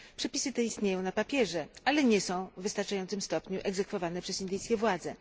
Przepisy te istnieją na papierze, ale nie są w wystarczającym stopniu egzekwowane przez indyjskie władze.